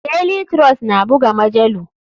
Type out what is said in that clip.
Daily trust na buga majalu.